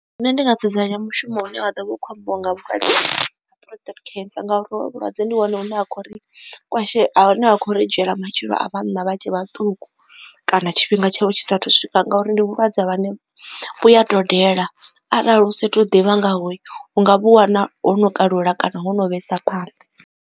Nṋe ndi nga dzudzanya mushumo une wa ḓo vha u kho ambiwa nga prostate cancer ngauri hovhu vhulwadze ndi wana hune ha khou ri ha khou ri dzhiela matshilo a vhanna vha tshe vhaṱuku kana tshifhinga tshavho tshi sa thu swika ngauri ndi vhulwadze vhune vhuya dodela arali u sa tu ḓivha ngaho u nga vhu wana ho no kalula kana ho no vhesa phanḓa.